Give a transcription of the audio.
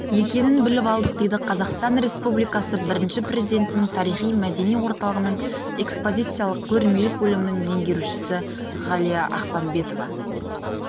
екенін біліп алдық дейді қазақстан республикасы бірінші президентінің тарихи-мәдени орталығының экспозициялық-көрмелік бөлімінің меңгерушісі ғалия ақпанбетова